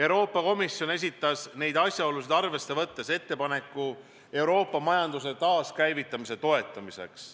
Euroopa Komisjon esitas neid asjaolusid arvesse võttes ettepaneku Euroopa majanduse taaskäivitamise toetamiseks.